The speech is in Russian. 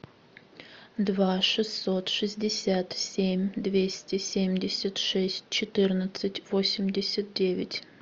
два шестьсот шестьдесят семь двести семьдесят шесть четырнадцать восемьдесят девять